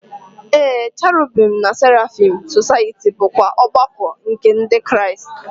Ee, Cherubim na Seraphim Society bụkwa ọgbakọ nke Ndị Kraịst.